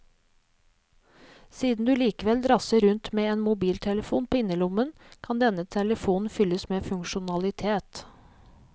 Siden du likevel drasser rundt med en mobiltelefon på innerlommen, kan denne telefonen fylles med funksjonalitet.